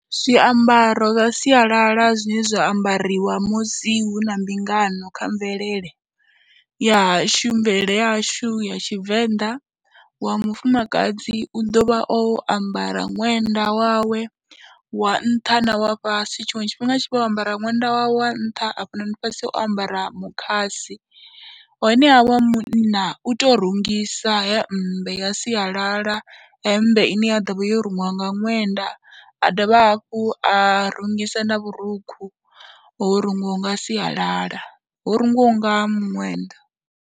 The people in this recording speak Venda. Zwiambaro zwa sialala zwine zwa ambariwa musi hu na mbingano kha mvelele ya tshumelo yashu ya Tshivenḓa, wa mufumakadzi u ḓo vha o ambara ṅwenda wawe wa nṱha na wa fhasi tshiṅwe tshifhinga a tshi vha o ambara ṅwenda wa nṱha hafhanoni fhasi o ambara mukhasi. Honeha wa munna u tou rungisa hemmbe ya sialala, hemmbe ine ya ḓo vha yo rungiwa nga ṅwenda a dovha hafhu a rungisa na vhurukhu ho rungiwa nga sialala, ho rungiwaho nga muṅwenda.